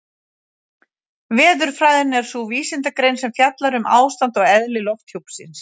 Veðurfræðin er sú vísindagrein sem fjallar um ástand og eðli lofthjúpsins.